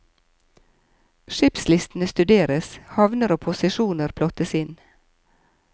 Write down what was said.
Skipslistene studeres, havner og posisjoner plottes inn.